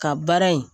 Ka baara in